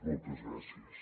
moltes gràcies